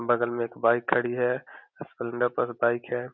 बगल में एक बाइक खड़ी है। बाइक है।